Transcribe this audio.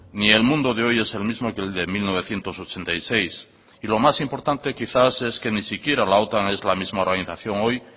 ni el mundo de hoy es el mismo que el de mil novecientos ochenta y seis y lo más importante quizás es que ni siquiera la otan es la misma organización hoy